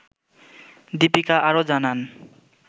দিপিকা আরও জানান